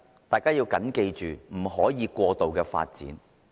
第一，不可以過度發展。